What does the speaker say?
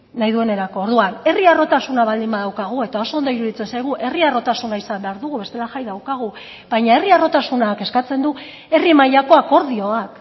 nahi duenerako orduan herri harrotasuna baldin badaukagu eta oso ondo iruditzen zaigu herri harrotasuna izan behar dugu bestela jai daukagu baina herri harrotasunak eskatzen du herri mailako akordioak